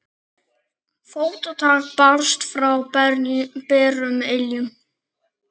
Fótatak barst frá berum iljum.